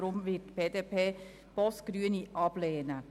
Deshalb wird die BDP den Antrag Boss/Grüne ablehnen.